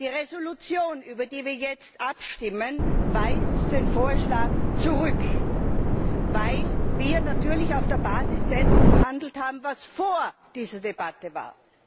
Die Entschließung, über die wir jetzt abstimmen, weist den Vorschlag zurück, weil wir natürlich auf der Basis dessen verhandelt haben, was vor dieser Debatte war.